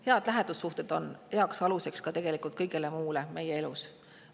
Head lähedussuhted on tegelikult hea alus ka kõigele muule meie elus.